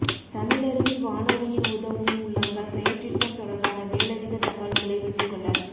தமிழருவி வானொலியின் உதவும் உள்ளங்கள் செயற்றிட்டம் தொடர்பான மேலதிக தகவல்களை பெற்றுக்கொள்ள